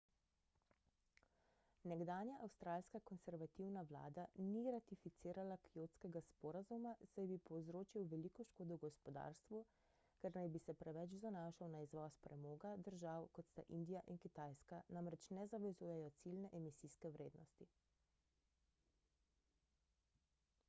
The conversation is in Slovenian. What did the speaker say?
nekdanja avstralska konservativna vlada ni ratificirala kjotskega sporazuma saj bi povzročil veliko škodo gospodarstvu ker naj bi se preveč zanašal na izvoz premoga držav kot sta indija in kitajska namreč ne zavezujejo ciljne emisijske vrednosti